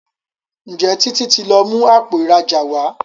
Njé Títí tí lọ mú Àpò ìrajà wá?